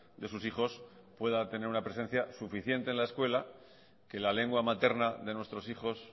de sus hijos pueda tener una presencia suficiente en la escuela que la lengua materna de nuestros hijos